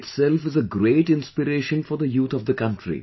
This in itself is a great inspiration for the youth of the country